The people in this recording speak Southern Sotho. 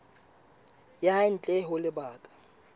ya hae ntle ho lebaka